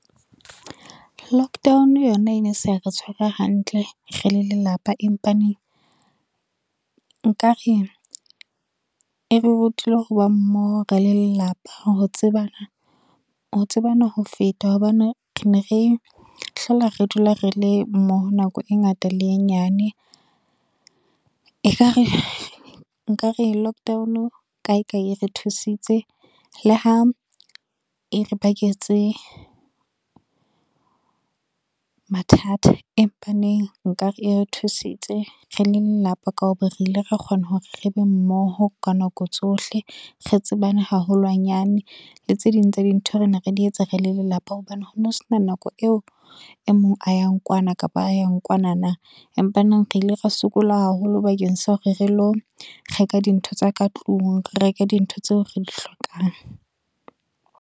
Lockdown yona e ne sa re tshwara hantle re le lelapa empa neng, nkare e re rutile ho ba mmoho re le lelapa ho tsebana ho feta hobane, ne re hlola re dula rele mmoho nako e ngata le e nyane. Ekare nka re lockdown kae kae e re thusitse le ha e re baketse, mathata empa neng nkare e re thusitse re le lelapa ka ho ba re ile ra kgona hore re be mmoho ka nako tsohle, re tsebane haholwanyane le tse ding tsa dintho re ne re di etsa re le lelapa hobane ho no sena nako eo e mong a yang kwana kapa a yan kwana na. Empa neng re ile re sokola haholo bakeng sa hore re lo reka dintho tsa ka tlung, re reke dintho tseo re di hlokang.